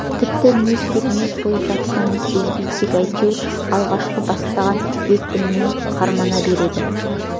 тіпті не істеп не қойып жатқанын сезбей тек әйтеуір алғашқы бастаған екпінімен қармана береді